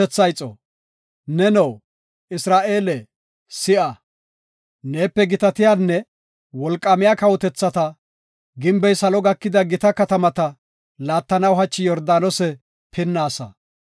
Neno, Isra7eele si7a; neepe gitatiyanne wolqaamiya kawotethata, gimbey salo gakida gita katamata laattanaw hachi Yordaanose pinnaasa.